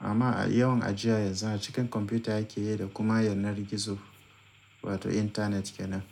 amma a yawan ajiya yanzu a cikin kwamfuta ake yi da kuma yanar gizo wato intanet kenan.